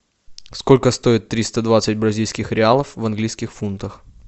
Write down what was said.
сколько стоит триста двадцать бразильских реалов в английских фунтах